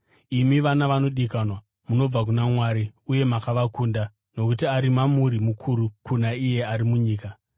Imi, vana vanodikanwa, munobva kuna Mwari uye makavakunda, nokuti ari mamuri mukuru kuna iye ari munyika.